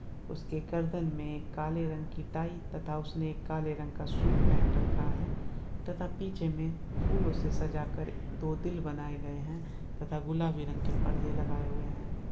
उसके गर्दन में एक काले रंग की टाई तथा उसने एक काले रंग का सूट पहन रखा है तथा पीछे में फूलों से सजा कर दो दिल बनाए गए हैं तथा गुलाबी रंग के पर्दे लगाए हुए हैं।